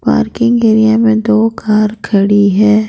Parking area में दो car खड़ी है।